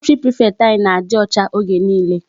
Sanitary prefect anyị na-adị ọcha oge niile.